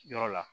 Yɔrɔ la